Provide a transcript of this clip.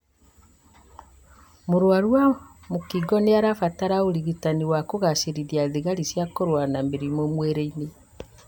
Mũrwaru wa mũkingo nĩarabatara ũrigitani wa kũgacĩrithia thigari cia kũrũa na mĩrimũ mwĩrĩ-inĩ